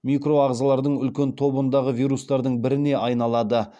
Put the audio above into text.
микроағзалардың үлкен тобындағы вирустардың біріне айналады